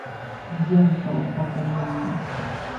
йентл покажи мне